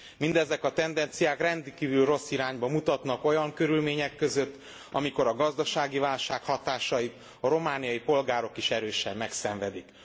Mindezek a tendenciák rendkívül rossz irányba mutatnak olyan körülmények között, amikor a gazdasági válság hatásait a romániai polgárok is erősen megszenvedik.